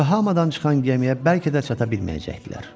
Yokohamadan çıxan gəmiyə bəlkə də çata bilməyəcəkdilər.